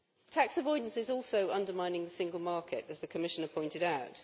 Tax avoidance is also undermining the single market, as the Commissioner pointed out.